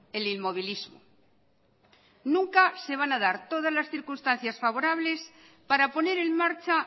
el inmovilismo nunca se van a dar todas las circunstancias favorables para poner en marcha